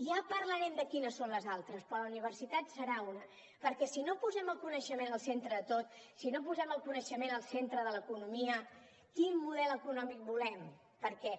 ja parlarem de quines són les altres però la universitat en serà una perquè si no posem el coneixement al centre de tot si no posem el coneixement al centre de l’economia quin model econòmic volem perquè